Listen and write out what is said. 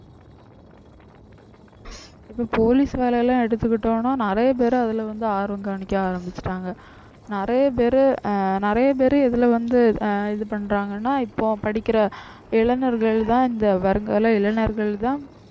இப்ப police வேலை எல்லாம் எடுத்துகிட்டோம்னா நிறைய பேர் அதுல வந்து ஆர்வம் காமிக்க ஆரம்பிச்சுட்டாங்க நிறைய பேரு ஆஹ் நிறைய பேரு இதுல வந்து ஆஹ் இது பண்றாங்கன்னா இப்போ படிக்கிற இளைஞர்கள்தான் இந்த வருங்கால இளைஞர்கள்தான்